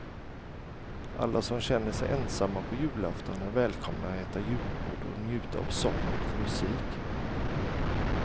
Alla som känner sig ensamma på julafton är välkomna att äta julbord och njuta av sång och musik.